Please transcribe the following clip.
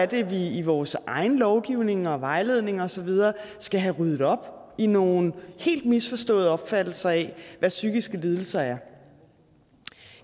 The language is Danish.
det er vi i vores egen lovgivning og vejledning og så videre skal have ryddet op i nogle helt misforståede opfattelser af hvad psykiske lidelser er